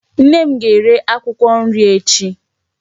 Nne m ga-ere akwụkwọ nri echi.